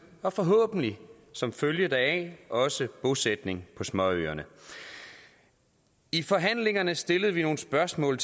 og forhåbentlig som følge deraf også bosætning på småøerne i forhandlingerne stillede vi nogle spørgsmål